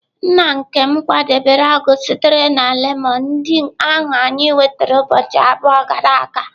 Nna nkem kwadebere ọgwụ sitere na lemon ndị ahụ anyị nwetara ụbọchị abụọ gara aga.